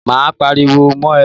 Máa pariwo mọ́ ẹ.